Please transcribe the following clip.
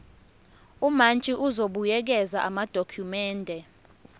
umantshi uzobuyekeza amadokhumende